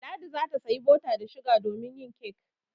Ladi za ta sayi bota da shuga domin yin kek.